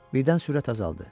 Birdən sürət azaldı.